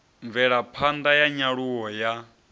mvelapha ṋda ya nyaluwo ya